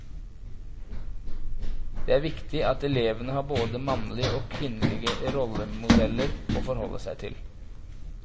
Det er viktig at elevene har både mannlige og kvinnelige rollemodeller å forholde seg til.